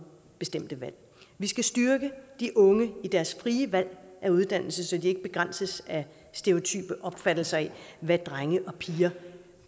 bestemte valg vi skal styrke de unge i deres frie valg af uddannelse så de ikke begrænses af stereotype opfattelser af hvad drenge og piger